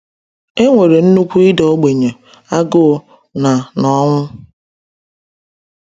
E nwere nnukwu ịda ogbenye, agụụ, na na ọnwụ.